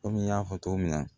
Kɔmi n y'a fɔ cogo min na